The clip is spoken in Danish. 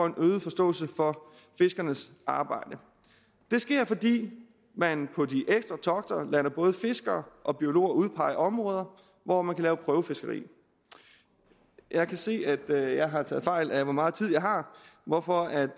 øget forståelse for fiskernes arbejde det sker fordi man på de ekstra togter lader både fiskere og biologer udpege områder hvor man kan lave prøvefiskeri jeg kan se at jeg har taget fejl af hvor meget tid jeg har hvorfor